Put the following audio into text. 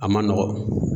A man nɔgɔn